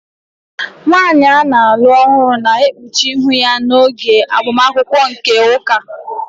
Nwanyị a na-alụ ọhụrụ na-ekpuchi ihu ya n'oge agbamakwụkwọ nke ụka